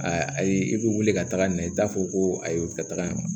Ayi i bɛ wuli ka taga na i t'a fɔ ko a ye weletaga ye wa